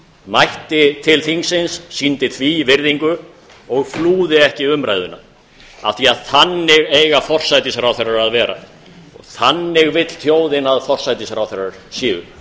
mætti til þingsins sýndi því virðingu og flúði ekki umræðuna af því að þannig eiga forsætisráðherrar að vera þannig vill þjóðin að forsætisráðherrar séu